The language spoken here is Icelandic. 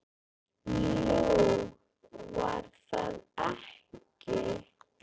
Nú, var það ekki?